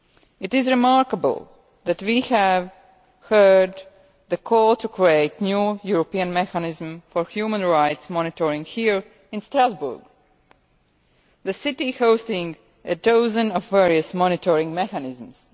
It is remarkable that we have heard the call to create a new European mechanism for human rights monitoring here in Strasbourg, the city hosting a dozen various monitoring mechanisms.